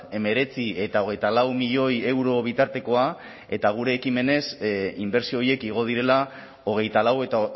hemeretzi eta hogeita lau milioi euro bitartekoa eta gure ekimenez inbertsio horiek igo direla hogeita lau eta